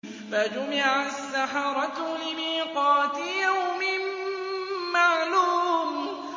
فَجُمِعَ السَّحَرَةُ لِمِيقَاتِ يَوْمٍ مَّعْلُومٍ